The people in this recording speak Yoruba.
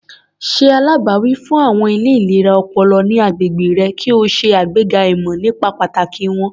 Ṣe alágbàwí fún àwọn ilé ìlera ọpọlọ ní agbègbè rẹ kí o ṣe àgbega ìmọ̀ nípa pàtàkì wọ́n.